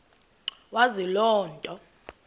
wazi loo nto